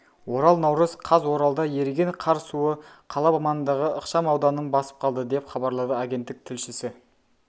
орал наурыз қаз оралда еріген қар суы қала маңындағы ықшамауданын басып қалды деп хабарлады агенттік тілшісі